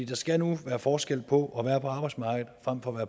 der skal nu være forskel på at være på arbejdsmarkedet frem for